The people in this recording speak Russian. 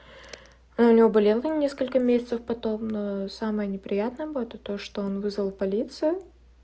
а у него болело не сколько месяцев потом самое неприятное было это то что он вызвал полицию